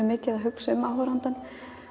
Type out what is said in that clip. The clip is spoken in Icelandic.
mikið að hugsa um áhorfandann